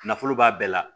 Nafolo b'a bɛɛ la